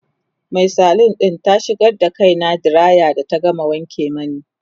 Mai salon ɗin ta shigar da kaina diraya da ta gama wanke mani